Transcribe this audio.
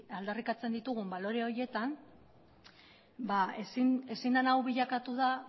aldarrikatzen ditugun balore horietan ezin dena hau bilakatu da